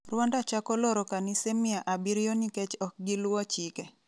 Rwanda chako loro Kanise mia abiriyo nikech ok giluwo chike